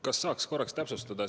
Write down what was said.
Kas saaks täpsustada?